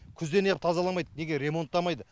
күзде неғып тазаламайды неге ремонттамайды